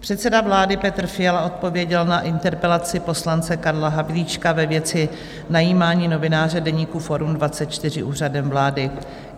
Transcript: Předseda vlády Petr Fiala odpověděl na interpelaci poslance Karla Havlíčka ve věci najímání novináře deníku Forum24 Úřadem vlády.